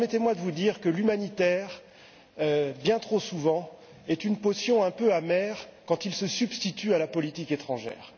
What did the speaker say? Permettez moi de vous dire que l'humanitaire, bien trop souvent, est une potion un peu amère quand il se substitue à la politique étrangère.